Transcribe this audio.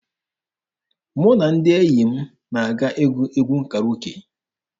Mụ na ndị enyi m na-aga ịgụ egwu Karoke.